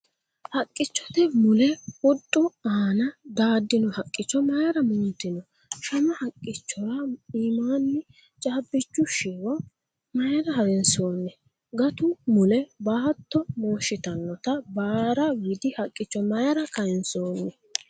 Haqqichote mule huxxu aana daaddino haqqicho maayra mooltino ? Shama haqqichora iimaanni caabbichu shiwo mayra harinsoonni ? Gatu mule baatto mooshshitanota baara widi haqqicho mayra kayinsoonni ?